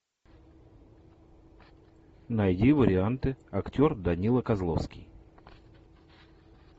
найди варианты актер данила козловский